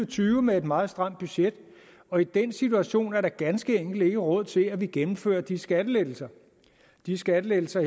tyve med et meget stramt budget og i den situation er der ganske enkelt ikke råd til at vi gennemfører de skattelettelser de skattelettelser